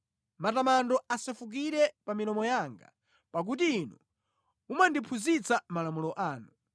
Matamando asefukire pa milomo yanga, pakuti Inu mumandiphunzitsa malamulo anu.